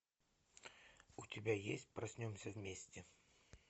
у тебя есть проснемся вместе